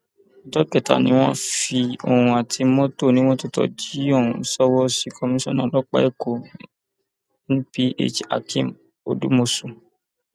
ọjọ kẹta ni wọn fi òun àti mọtò onímọtò tó jí ohun ṣọwọ sí komisanna ọlọpàá èkó nphakeem odúmọsù